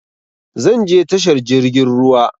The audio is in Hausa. Zan je tashar jirgin ruwa